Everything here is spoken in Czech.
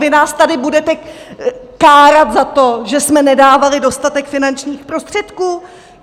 Vy nás tady budete kárat za to, že jsme nedávali dostatek finančních prostředků?